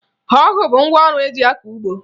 Ọgụ bụ ngwaọrụ eji akọ ugbo